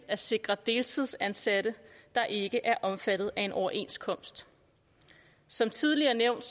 at sikre deltidsansatte der ikke er omfattet af en overenskomst som tidligere nævnt